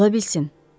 Ola bilsin.